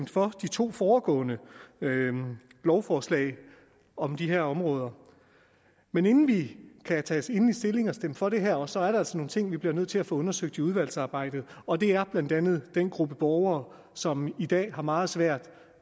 for de to foregående lovforslag om de her områder men inden vi kan tage endelig stilling og stemme for det her også er der altså nogle ting vi bliver nødt til at få undersøgt i udvalgsarbejdet og det er blandt andet den gruppe borgere som i dag har meget svært